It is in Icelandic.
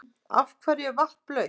Af hverju er vatn blautt?